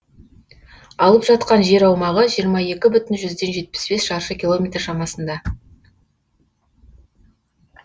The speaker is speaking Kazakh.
алып жатқан жер аумағы жиырма екі бүтін жүзден жетпіс бес шаршы километр шамасында